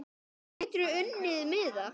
Hvernig geturðu unnið miða?